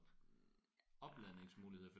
Ah